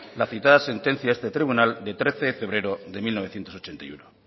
la citada sentencia de este tribunal de trece de febrero de mil novecientos ochenta y uno